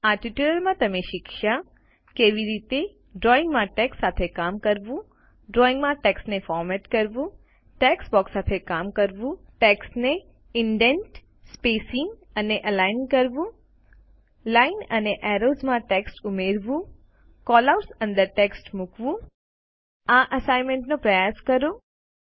આ ટ્યુટોરીયલમાં તમે શીખ્ય્સ કે કેવી રીતે ડ્રોઇંગમાં ટેક્સ્ટ સાથે કામ કરવું ડ્રોઇંગમાં ટેક્સ્ટને ફોરમેટ કરવું ટેક્સ્ટબોક્સ સાથે કામ કરવું ટેક્સ્ટને ઇન્દેન્તિંગ સ્પેસીંગ અને અલાઇન કરવું લાઈન અને એરોઝમાં ટેક્સ્ટ ઉમેરવું કેલઆઉટ્સ અંદર ટેક્સ્ટ મુકવું આ અસાઈનમેન્ટનો પ્રયાસ કરો